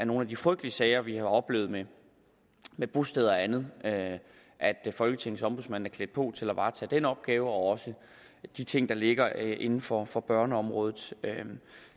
nogle af de frygtelige sager vi har oplevet med med bosteder og andet at folketingets ombudsmand er klædt på til at varetage den opgave og de ting der ligger inden for for børneområdet